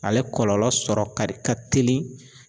Ale kɔlɔlɔ sɔrɔ kadi ka teli